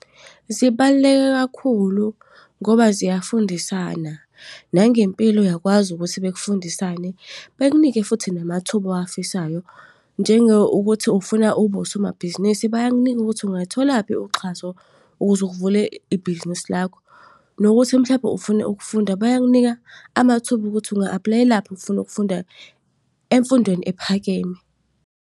Zibaluleke kakhulu ngoba ziyafundisana. Nangempilo uyakwazi ukuthi bekufundisane, bekunike futhi namathuba owafisayo. Njengokuthi ufuna ukuba usomabhizinisi, bayakunika ukuthi ungayitholaphi uxhaso ukuze uvule ibhizinisi lakho. Nokuthi mhlampe ufuna ukufunda, bayakunika amathuba ukuthi unga-apply-elaphi if ufuna ukufunda emfundweni ephakeme.